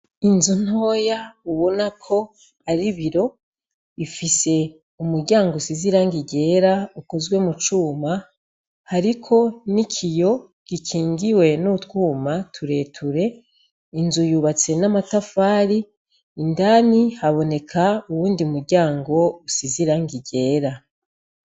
Inzu ntoya ubonako ari iboro ifise umuryango usize irangi ryera hariko nikiyo gikingiwe utwuma tureture inzu yubatse n'amatafari indani haboneka uwundi muryango usize irangi ryera.